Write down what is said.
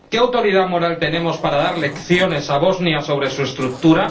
¿Qué autoridad moral tenemos para dar lecciones a Bosnia sobre su estructura?